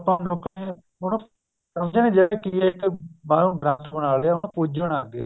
ਆਪਾਂ ਹੁਣ ਲੋਕ ਹੁਣ ਸਮਜਹੇ ਨੀ ਬੱਸ ਉਹ ਗ੍ਰੰਥ ਬਣਾ ਲਿਆ ਉਹਨੂੰ ਪੂਜਣ ਲੱਗ ਗਏ